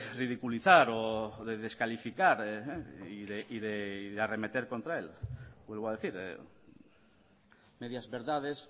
ridiculizar o de descalificar y de arremeter contra él vuelvo a decir medias verdades